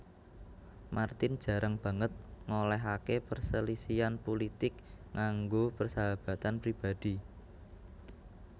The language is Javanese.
Martin jarang banget ngolehake perselisihan pulitik ngganggu persahabatan pribadhi